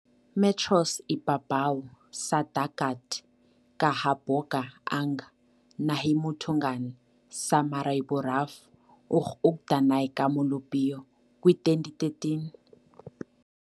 Metros ibabaw sa dagat kahaboga ang nahimutangan sa Maryborough, ug adunay ka molupyo, kwi2013.